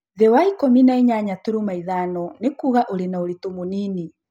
Thĩ wa ikũmi na inyanya turuma ithano nĩkuuga ũrĩ na ũritũ mũnini